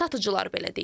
Satıcılar belə deyir.